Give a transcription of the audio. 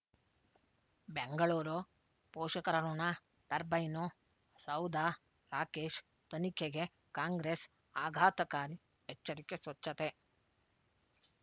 ಬೆಂಗಳೂರು ಪೋಷಕರಋಣ ಟರ್ಬೈನು ಸೌಧ ರಾಕೇಶ್ ತನಿಖೆಗೆ ಕಾಂಗ್ರೆಸ್ ಆಘಾತಕಾರಿ ಎಚ್ಚರಿಕೆ ಸ್ವಚ್ಛತೆ